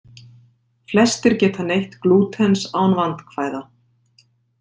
Flestir geta neytt glútens án vandkvæða.